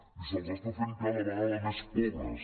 i se’ls està fent cada vegada més pobres